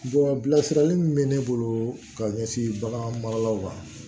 bilasirali min bɛ ne bolo ka ɲɛsin bagan maralaw ma